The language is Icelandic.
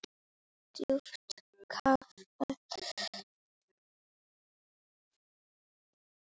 Djúpt kafað.